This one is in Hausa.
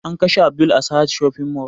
An kashe abdul a sahad shopping mall